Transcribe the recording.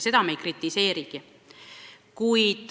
Seda me ei kritiseerigi.